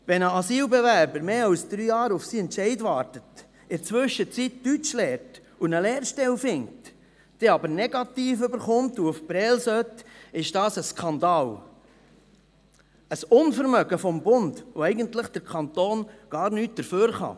Wenn ein Asylbewerber länger als drei Jahre auf seinen Entscheid wartet, in der Zwischenzeit Deutsch lernt und eine Lehrstelle findet, dann aber einen Negativentscheid erhält und nach Prêles gehen sollte, ist das ein Skandal, ein Unvermögen des Bundes, wofür der Kanton eigentlich gar nichts kann.